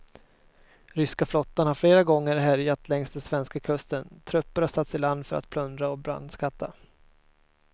Ryska flottan har flera gånger härjat längs den svenska kusten, trupper har satts i land för att plundra och brandskatta.